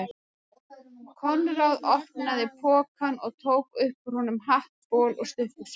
Konráð opnaði pokann og tók upp úr honum hatt, bol og stuttbuxur.